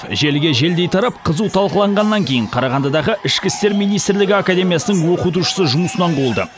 желіге желдей тарап қызу талқылағаннан кейін қарағандыдағы ішкі істер министрлігі академиясының оқытушысы жұмысынан қуылды